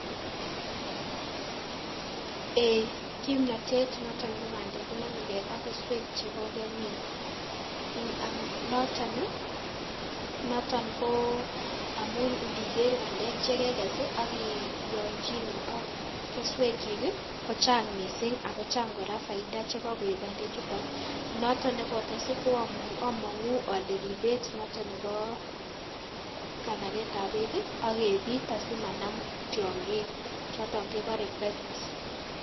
Kimnotet chebo bandek konamekei ak keswek che kokemin, noton amun ndikeer bandek chikekes ak kiyachinei ak keswek chi ko chang mising ako chang kora faida che kakoip bandechuto noton ne kotes amangu ale ripet ak kanaketab beek ak pitet asimanam tiongik choto kipare pests.